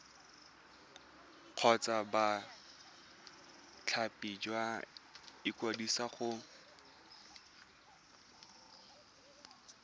kgotsa bothati jwa ikwadiso go